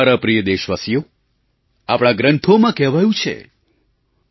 મારા પ્રિય દેશવાસીઓ આપણા ગ્રંથોમાં કહેવાયું છેઃ